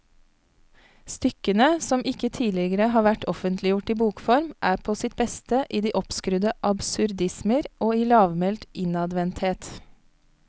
Stykkene, som ikke tidligere har vært offentliggjort i bokform, er på sitt beste i de oppskrudde absurdismer og i lavmælt innadvendthet.